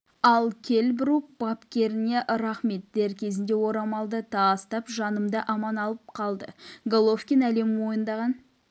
ал келл брук бапкеріме рахмет дер кезінде орамал тастап жанымды аман алып қалды головкин әлем мойындаған